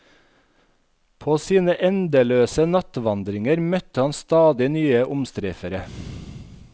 På sine endeløse nattevandringer møtte han stadig nye omstreifere.